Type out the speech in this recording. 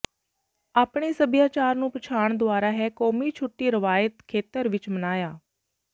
ਆਪਣੇ ਸੱਭਿਆਚਾਰ ਨੂੰ ਪਛਾਣ ਦੁਆਰਾ ਹੈ ਕੌਮੀ ਛੁੱਟੀ ਰਵਾਇਤੀ ਖੇਤਰ ਵਿਚ ਮਨਾਇਆ